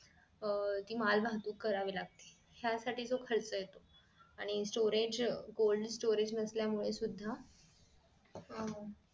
अह ती माल वाहतूक करावी लागते त्या साठी जो खर्च येतो आणि storage cold storage नसल्यामुळे सुद्धा अं